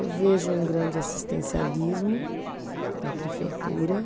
Eu vejo um grande assistencialismo na prefeitura.